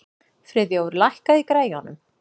Friðþjófur, lækkaðu í græjunum.